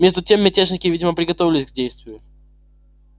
между тем мятежники видимо приготовлялись к действию